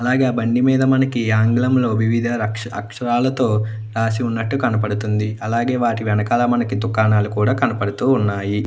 అలాగే మనకి ఆ బండి మీద ఆంగ్లంలో వివిధ అక్షరాలతో రాసిఉన్నటు కనబడుతుంది అలాగే వాటి వెనుకాల దుకాణాలు కూడా కనపడుతున్నాయి.